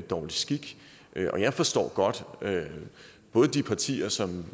dårlig skik og jeg forstår godt at de partier som